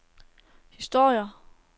historier